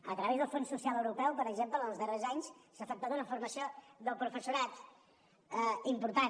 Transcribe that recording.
a través del fons social europeu per exemple en els darrers anys s’ha efectuat una formació del professorat important